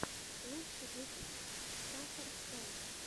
лучший выпуск сахар шоу